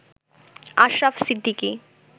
Ashraf Siddiqui